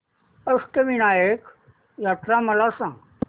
अष्टविनायक यात्रा मला सांग